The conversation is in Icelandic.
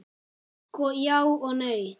Sko, já og nei.